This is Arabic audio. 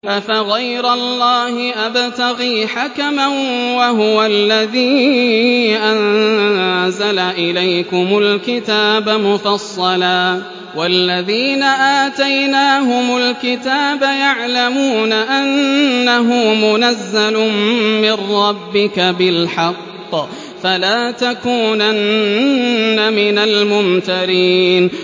أَفَغَيْرَ اللَّهِ أَبْتَغِي حَكَمًا وَهُوَ الَّذِي أَنزَلَ إِلَيْكُمُ الْكِتَابَ مُفَصَّلًا ۚ وَالَّذِينَ آتَيْنَاهُمُ الْكِتَابَ يَعْلَمُونَ أَنَّهُ مُنَزَّلٌ مِّن رَّبِّكَ بِالْحَقِّ ۖ فَلَا تَكُونَنَّ مِنَ الْمُمْتَرِينَ